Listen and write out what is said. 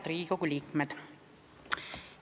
Head Riigikogu liikmed!